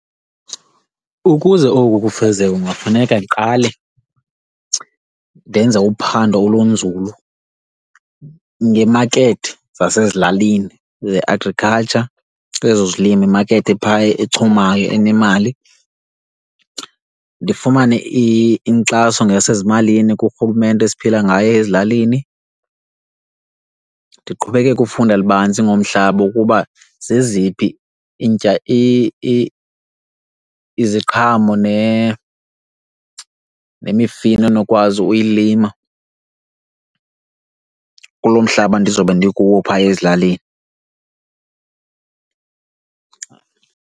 Ukuze oku kufezeke kungafuneka ndiqale ndenze uphando olunzulu ngeemakethe zasezilalini ze-agriculture kwezozilimo imakethe ephaya echumayo enemali. Ndifumane inkxaso ngokwasezimalini kuRhulumente esiphila ngaye ezilalini. Ndiqhubekeke ufunda lubanzi ngomhlaba ukuba zeziphi iziqhamo nemifino endinokwazi ukuyilima kulo mhlaba ndizobe ndikuwo phaa ezilalini.